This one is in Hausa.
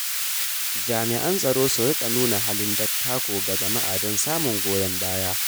Jami’an tsaro su rika nuna halin dattako ga jama’a don samun goyon baya.